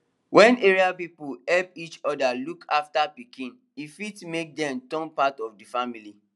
wen area people help each other look after pikin e fit make dem turn part of the family